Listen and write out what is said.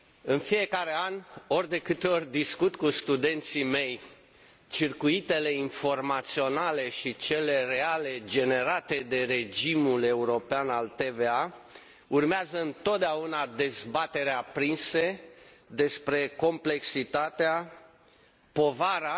În fiecare an, ori de câte ori discut cu studenții mei circuitele informaționale și cele reale generate de regimul european al TVA, urmează întotdeauna dezbateri aprinse despre complexitatea, povara